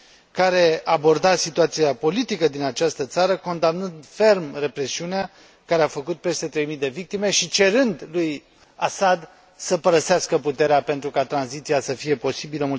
care aborda situația politică din această țară, condamnând ferm represiunea care a făcut peste trei mii de victime și cerând lui Assad să părăsească puterea pentru ca tranziția să fie posibilă.